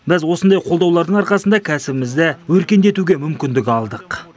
біз осындай қолдаулардың арқасында кәсібімізді өркендетуге мүмкіндік алдық